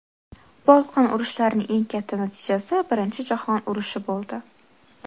Bolqon urushlarining eng katta natijasi Birinchi jahon urushi bo‘ldi.